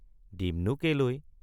দিমনো কেলৈ!